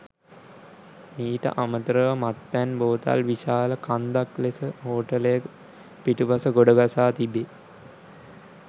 මීට අමතර ව මත්පැන් බෝතල් විශාල කන්දක් ලෙස හෝටලය පිටුපස ගොඩගසා තිබේ.